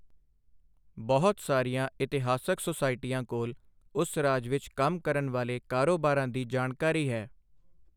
ਬਹੁਤ ਸਾਰੀਆਂ ਇਤਿਹਾਸਕ ਸੁਸਾਇਟੀਆਂ ਕੋਲ ਉਸ ਰਾਜ ਵਿੱਚ ਕੰਮ ਕਰਨ ਵਾਲੇ ਕਾਰੋਬਾਰਾਂ ਦੀ ਜਾਣਕਾਰੀ ਹੈ।